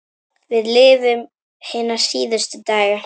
Við lifum hina síðustu daga.